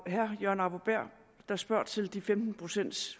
herre jørgen arbo bæhr der spørger til de femten pcts